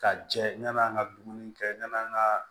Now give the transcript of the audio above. Ka jɛ ɲana an ka dumuni kɛ yani an ka